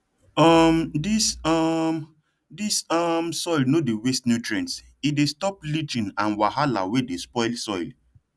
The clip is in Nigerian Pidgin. um dis um dis um soil no dey waste nutrients e dey stop leaching and wahala wey dey spoil soil